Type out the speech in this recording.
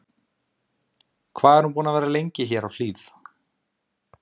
Fréttamaður: Hvað er hún búin að vera lengi hér á Hlíð?